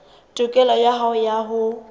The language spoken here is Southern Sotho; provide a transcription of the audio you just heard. tokelo ya hao ya ho